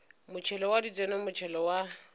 motšhelo wa ditseno motšhelo wa